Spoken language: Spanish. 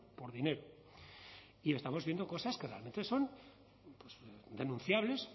por dinero y estamos viendo cosas que realmente son denunciables